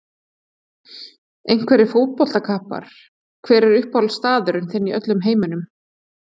Einhverjir fótboltakappar Hver er uppáhaldsstaðurinn þinn í öllum heiminum?